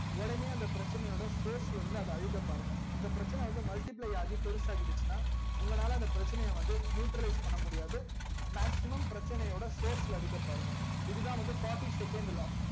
உடனே அந்த பிரச்சனை யோட source ல இருந்து அழிக்க பாருங்க எந்த பிரச்சன வந்து multiply ஆகி பெருசா ஆயிடுச்சினா உங்க லால அந்த பிரச்சனைய வந்து nutralize பண்ண முடியாது maximum பிரச்சனையோட source ல அடிக்க பாருங்க இதுதா வந்து fourty second law